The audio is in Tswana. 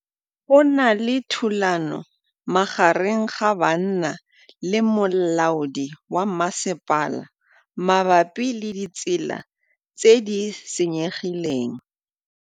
Go na le thulanô magareng ga banna le molaodi wa masepala mabapi le ditsela tse di senyegileng.